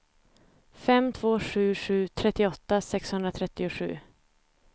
fem två sju sju trettioåtta sexhundratrettiosju